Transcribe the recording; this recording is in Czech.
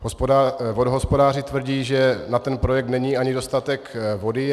Vodohospodáři tvrdí, že na ten projekt není ani dostatek vody.